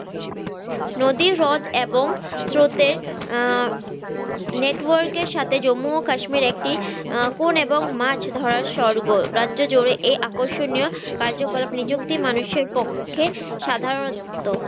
নদী হ্রদ এবং স্রোতের আহ network এর সাথে জম্মু ও কাশ্মীর একটি আহ এবং মাছ ধরার স্বর্গ রাজ্য জুড়ে এই আকর্ষণীয় কার্যকলাপ নিযুক্তি মানুষের পক্ষে সাধারনত